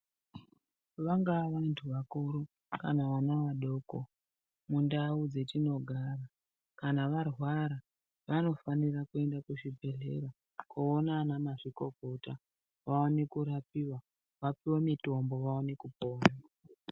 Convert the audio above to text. Vanga vantu vakuru kana vana vadoko mundau dzetinogara kana varwara vanofanirwa kuende kuzvibhehlera koona anamazvikokota vaone kurapiwa vapuwe mutombo vaone kupora.